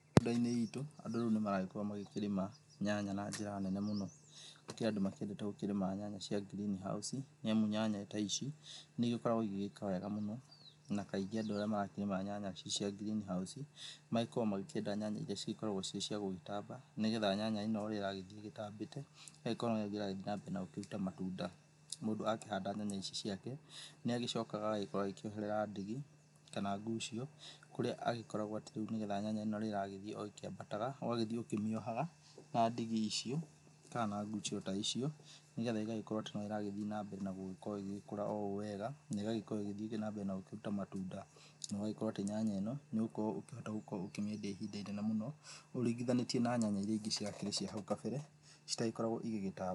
Ũndũ -inĩ wĩtũ andũ rĩu nĩmaragĩkorwo magĩkĩrĩma nyanya na njĩra nene mũno, gũkĩrĩ andũ makĩendete gũkĩrĩma nyanya cia green house nĩamu nyanya ta ici nĩ ĩgĩkoragwo ĩgĩgĩka wega mũno na kaingĩ andũ rĩrĩa marakĩrĩma nyanya ici cia green house magĩkoragwo magĩkĩenda nyanya ĩria cĩgĩkoragwo cirĩ cia gũgĩtamba nĩgetha nyanya ĩno ũrĩa ĩragĩthĩĩ ĩtambĩte ĩgagĩkorwo noguo ĩrathĩĩ nambere na gũkĩruta matunda. Mũndũ akĩhanda nyanya ciake nĩ agĩcokaga agagĩkorwo agĩkĩoherera ndigi kana ngucio kũrĩa agĩkoragwo atĩ rĩu nĩgetha nyanya ĩno ũrĩa ĩragĩthĩĩ oĩkĩambataga ũgagĩthĩĩ ũkĩmĩohaga na ndigi icio ka na ngucio ta icio nĩgetha ĩgagĩkorwo atĩ no ĩragĩthĩ nambere na gũgĩkorwo ĩgĩkũra o ũũ wega na ĩgagĩkorwo ĩgĩthĩĩ nambere na gũkĩruta matunda, na ũgagĩkorwo atĩ nyanya ĩno nĩ ũgũkirwo ũkĩhota ũkĩmĩendia ĩhinda ĩnene mũno ũringĩthanĩtie na nyanya ĩria ĩngĩ ciakĩrĩ cia hau kabere citagĩkoragwo ĩgĩgĩtamba.